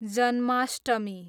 Janmashtami